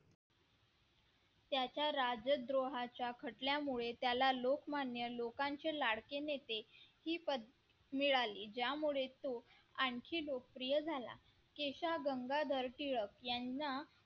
त्याच्या राज्यद्रोहाच्या घटल्यामुळे त्याला लोकमान्य लोकांच्या लाडके नेते ही पदवी मिळाली ज्यामुळे तो आणखी लोकप्रिय झाला गंगाधर टिळक यांना